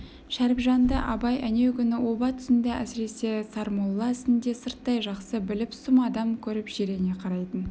шәріпжанды абай әнеугүні оба тұсында әсіресе сармолла ісінде сырттай жақсы біліп сұм адам көріп жирене қарайтын